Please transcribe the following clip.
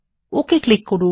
ওকে click করুন